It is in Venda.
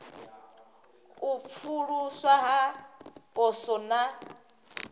u pfuluswa ha poswo na